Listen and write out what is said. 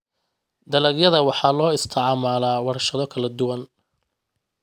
Dalagyada waxaa loo isticmaalaa warshado kala duwan.